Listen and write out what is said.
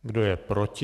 Kdo je proti?